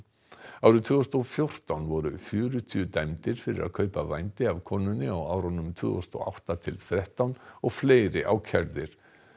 árið tvö þúsund og fjórtán voru fjörutíu dæmdir fyrir að kaupa vændi af konunni á árunum tvö þúsund og átta til þrettán og fleiri ákærðir